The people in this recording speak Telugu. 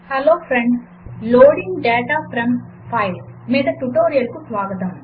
hello friends loading data from files మీద ట్యుటోరియల్కు స్వాగతం